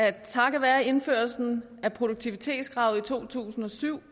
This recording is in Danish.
at takket være indførelsen af produktivitetskravet i to tusind og syv